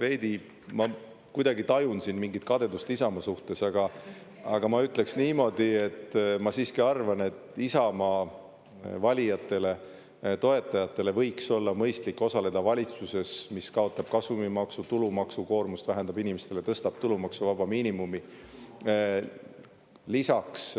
Veidi ma kuidagi tajun siin mingit kadedust Isamaa suhtes, aga ma ütleksin niimoodi, et ma siiski arvan, et Isamaa valijatele-toetajatele võiks olla mõistlik osaleda valitsuses, mis kaotab kasumimaksu, tulumaksukoormust vähendab inimestele, tõstab tulumaksuvaba miinimumi, lisaks